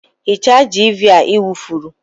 Hichaa jiiviia i wufuru!